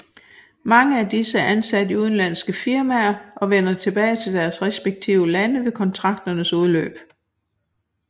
Mange af disse er ansat i udenlandske firmaer og vender tilbage til deres respektive lande ved kontrakternes udløb